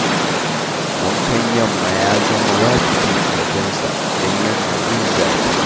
Wankan yamma ya zama wajibi a wajensa, don yana da jin zafi